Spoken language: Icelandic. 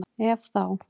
Ef þá?